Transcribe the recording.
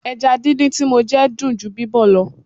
Ẹja díndín tí mo jẹ dùn ju bíbọ̀ lọ.